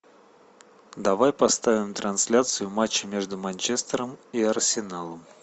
давай поставим трансляцию матча между манчестером и арсеналом